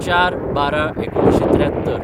०४/१२/१९७३